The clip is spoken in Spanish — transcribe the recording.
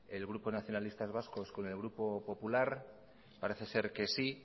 el grupo nacionalistas vascos con el grupo popular parece ser que sí